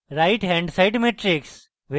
right hand side matrix